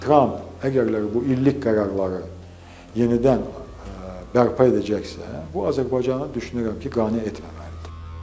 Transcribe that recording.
Tramp əgərləri bu illik qərarları yenidən bərpa edəcəksə, bu Azərbaycanı düşünürəm ki, qane etməməlidir.